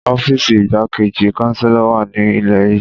Ọfiisi Igbakeji Chancellor wa ni ile yii.